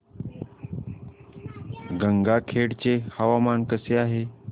गंगाखेड चे हवामान कसे आहे